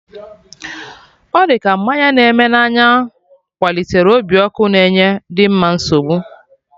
Ọ dị ka mmanya na-eme na anya kwalitere obi ọkụ na enye Dimma nsogbu